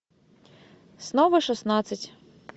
снова шестнадцать